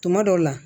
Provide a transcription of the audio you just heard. Tuma dɔw la